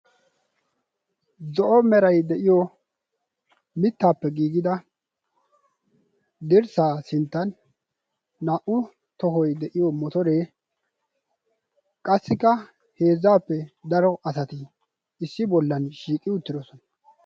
zo'o meray de'iyo mittaappe giigida dirssaa sinttan naa"u tohoi de'iyo motoree qassikka heezzaappe daro asati issi bollan shiiqi uttidosona.